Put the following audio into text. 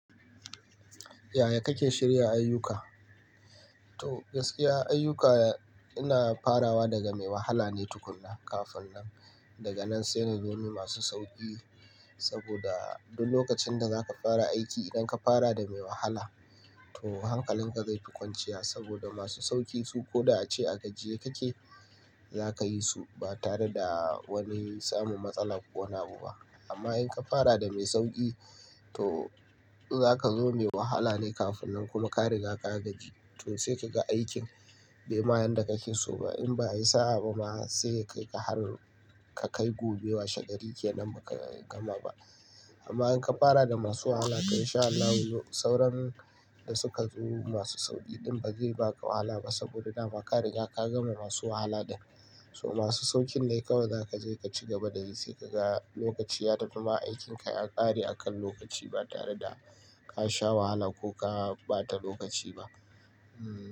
Yaya kake shirya ayyuka? To gaskiya ayyuka ina farawa daga mai wahala ne tukunna kafin nan daga nan sai na zo ni masu sauƙi saboda duk lokacin da za ka fara aiki idan ka fara da mai wahala to hankalin ka zai fi kwanciya saboda masu sauƙi su ko da ace a gajiye kake za ka yi su ba tare da wani samun matsala ko wani abu ba. Amma in ka fara da mai sauƙi to za ka zo me wahala ne kafin nan kuma ka riga ka gaji to sai ka ga aikin bai ma yanda ka ke so ba in ba yi sa'a ba ma sai ya kaika har ka kai gobe wa shegari kenan ba ka gama ba. Amma in ka fara da masu wahala to in sha Allahu sauran da suka zo masu sauƙi ɗin ba zai baka wahala ba saboda dama ka riga ka gama masu wahala dai. So masu sauƙin dai kawai za ka je ka ci gaba da yi sai ka ga lokaci ya tafi ma aikinka ya ƙare akan lokaci ba tare da ka sha wahala ko ka ɓata lokaci ba. Hmm.